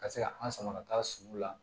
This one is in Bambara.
Ka se ka an sama ka taa sugu la